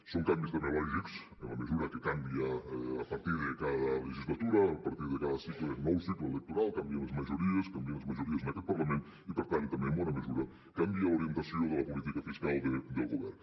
són canvis també lògics en la mesura que canvia a partir de cada legislatura a partir de cada cicle nou cicle electoral canvien les majories canvien les majories en aquest parlament i per tant també en bona mesura canvia l’orientació de la política fiscal del govern